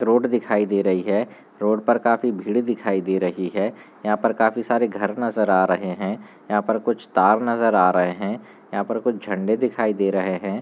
Road दिखाई दे रही है रोड पर काफी भीड़ दिखाई दे रही हैं यहाँ पर काफी सारे घर नजर आ रहे हैं यहाँ पर कुछ तार नजर आ रहा हैं यहाँ पर कुछ झंडे दिखाई दे रहे हैं।